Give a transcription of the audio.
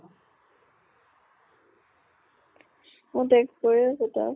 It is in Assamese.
মই text কৰি আছো তাক